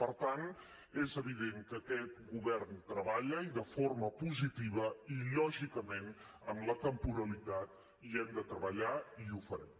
per tant és evident que aquest govern treballa i de forma positiva i lògicament en la temporalitat hi hem de treballar i ho farem